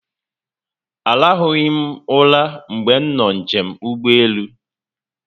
A rahụghi m ụra mgbe m nọ njem n'ụgbọelu